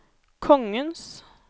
kongens